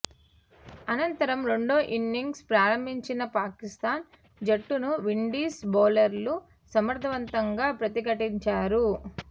అనంతరం రెండో ఇన్నింగ్స్ ప్రారంభించిన పాకిస్తాన్ జట్టును విండీస్ బౌలర్లు సమర్ధవంతంగా ప్రతిఘటించారు